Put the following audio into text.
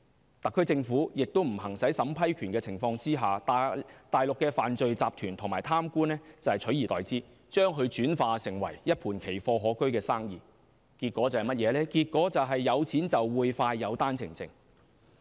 在特區政府不行使審批權的情況下，內地犯罪集團和貪官取而代之，經營一盤奇貨可居的生意，結果是有錢就會快有單程證。